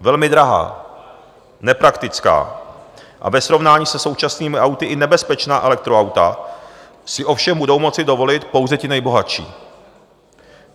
Velmi drahá, nepraktická a ve srovnání se současnými auty i nebezpečná elektroauta si ovšem budou moci dovolit pouze ti nejbohatší.